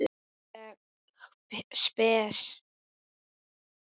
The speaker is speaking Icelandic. Alveg spes.